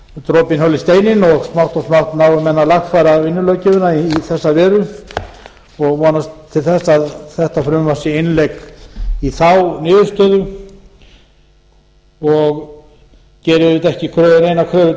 dropinn holi steininn og smátt og smátt nái menn að lagfæra vinnulöggjöfina í þessa veru og vonast til þess að þetta frumvarp sé innlegg í þá niðurstöðu og geri auðvitað ekki neina kröfu til